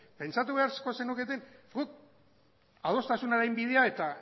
pentsatu beharko zenuketen guk adostasunaren bidea eta